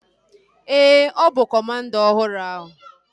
Ee, ọ bụ kọmanda ọhụrụ ahu